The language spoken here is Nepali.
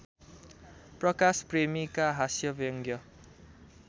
प्रकाश प्रेमीका हास्यव्यङ्ग्य